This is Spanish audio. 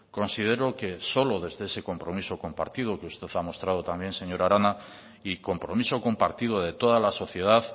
considero que solo desde ese compromiso compartido que usted ha mostrado también señora arana y compromiso compartido de toda la sociedad